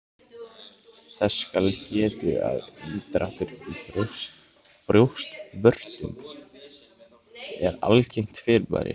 Þess skal getið að inndráttur í brjóstvörtum er algengt fyrirbæri.